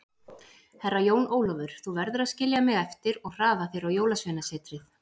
Herra Jón Ólafur, þú verður að skilja mig eftir og hraða þér á Jólasveinasetrið.